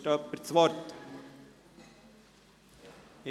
Wünscht jemand das Wort?